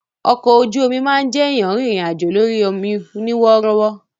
Ọkọ ojú omi máa ń jẹ́ èèyàn rìnrìn àjò lórí ọmọ ní wọ́rọ́wọ́